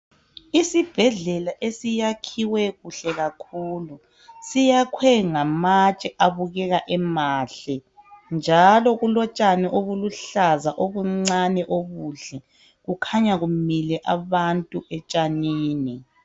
Isibhedlela esiyakhiwe kuhle kakhulu siyakhwe ngamatshe abukeka emahle njalo kulotshani obuluhlaza obuncane obuhle kukhanya kumile abantu etshanini.